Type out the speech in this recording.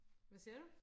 hva siger du